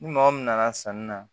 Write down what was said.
Ni maa o min nana sanni na